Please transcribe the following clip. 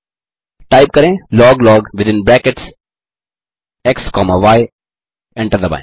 type करें log log within brackets x comma y enter दबाएँ